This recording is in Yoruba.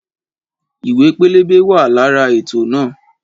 Ìwé pẹlẹbẹ wa lára ètò náà